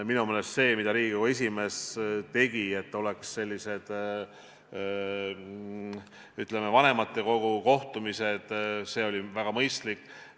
Minu meelest see, mida Riigikogu esimees tegi, et oleksid vanematekogu kohtumised, oli väga mõistlik.